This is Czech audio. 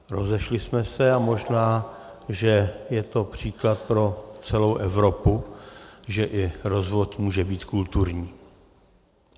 Rozešli jsme se a možná, že je to příklad pro celou Evropu, že i rozvod může být kulturní.